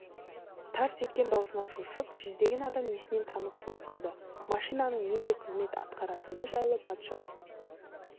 тарс еткен дауысынан шошып жүздеген адам есінен танып құлап қалды машинаның нендей қызмет атқаратыны жайлы патша